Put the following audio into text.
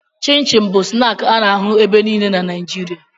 Chịn chịn bụ snaakị a na-ahụ ebe niile na Naịjirịa